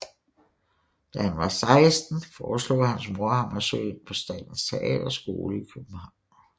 Da han var 16 foreslog hans mor ham at søge ind på Statens Teaterskole i København